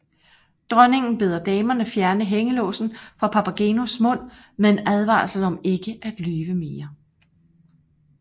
Dronningen beder damerne fjerne hængelåsen fra Papagenos mund med en advarsel om ikke at lyve mere